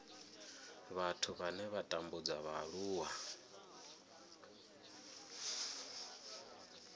vhathu vhane vha tambudza vhaaluwa